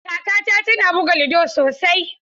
Kakata tana buga ludo sosai.